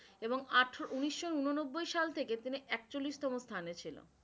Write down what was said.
এবং আঠারো উনিশশো উন নব্বই সাল থেকে তিনি একচল্লিশতম স্থানে ছিল।